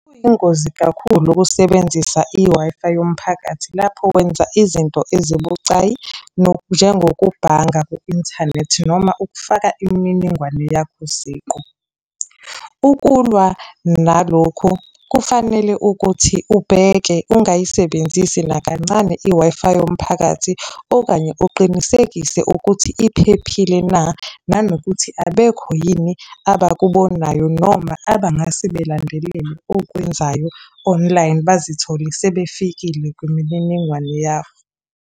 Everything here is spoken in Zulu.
Kuyingozi kakhulu ukusebenzisa i-Wi-Fi yomphakathi lapho wenza izinto ezibucayi njengokubhanga ku-inthanethi noma ukufaka imininingwane yakho siqu. Ukulwa nalokhu kufanele ukuthi ubheke ungayisebenzisi nakancane i-Wi-Fi yomphakathi, okanye uqinisekise ukuthi iphephile na, nanokuthi abekho yini abakubonayo noma abangase belandelele okwenzayo online, bazithole sebefikile kwimininingwane yakho.